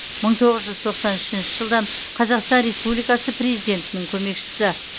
мың тоғыз жүз тоқсан үшінші жылдан қазақстан республикасы президентінің көмекшісі